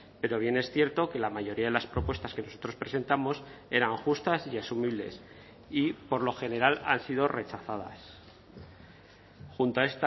pero bien es cierto que la mayoría de las propuestas que nosotros presentamos eran justas y asumibles y por lo general han sido rechazadas junto a